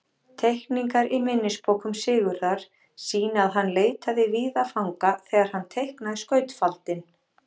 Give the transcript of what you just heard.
Teikningar í minnisbókum Sigurðar sýna að hann leitaði víða fanga þegar hann teiknaði skautafaldinn.